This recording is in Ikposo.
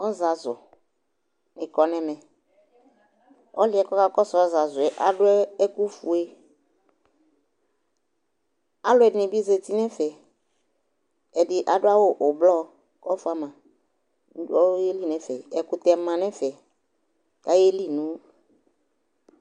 Ɔzazʋnɩ kɔ n'ɛmɛ : ɔlʋɩɛ ka kɔsʋ ɔzazʋɛ adʋ ɛkʋfue Alʋɛdɩnɩ bɩ zati n'ɛfɛ, ɛdɩ adʋ awʋ ʋblɔ k'ɔfʋa ma kʋ , ayeli n'ɛfɛ Ɛkʋtɛ ma n'ɛfɛ k'zyeli nʋ